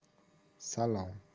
салам